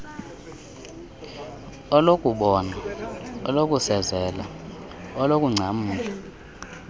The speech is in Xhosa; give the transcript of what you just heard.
olokubona olokusezela olokungcamla